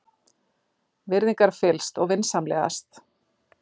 Virðingarfyllst og vinsamlegast.